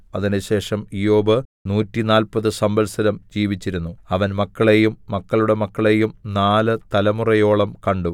അതിന്‍റെശേഷം ഇയ്യോബ് നൂറ്റിനാല്പത് സംവത്സരം ജീവിച്ചിരുന്നു അവൻ മക്കളെയും മക്കളുടെ മക്കളെയും നാല് തലമുറയോളം കണ്ടു